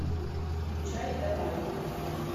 включай элай